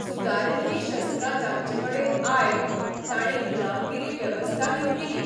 सुदारिल्लीं शस्त्रां जांचेकडेन आयल तांणी गुलामगिरी बेवस्था निर्मिली.